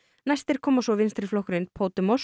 næstir koma svo vinstriflokkurinn